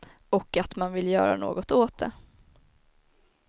Och att man vill göra något åt det.